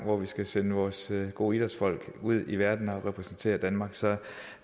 og skal sende vores gode idrætsfolk ud i verden for at repræsentere danmark så